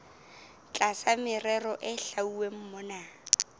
tlasa merero e hlwauweng mona